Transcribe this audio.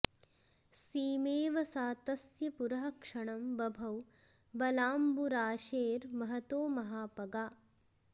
सीमेव सा तस्य पुरः क्षणं बभौ बलाम्बुराशेर्महतो महापगा